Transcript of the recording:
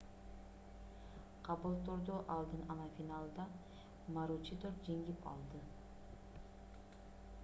кабултурду алдын ала финалда маручидор жеңип алды